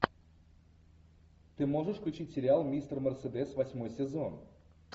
ты можешь включить сериал мистер мерседес восьмой сезон